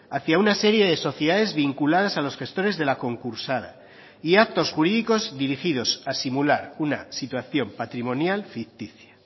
hacia una serie de sociedades vinculadas a los gestores de la concursada y actos jurídicos dirigidos a simular una situación patrimonial ficticia